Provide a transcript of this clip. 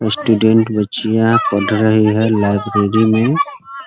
Student बच्चियाँ पढ़ रही हैं लाइब्रेरी में ।